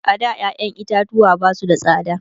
a da ƴaƴan itatuwa Basu da tsada